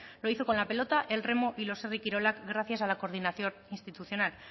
lo hizo con la pelota el remo y los herri kirolak gracias a la coordinación institucional